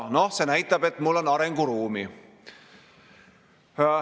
See näitab, et mul on arenguruumi.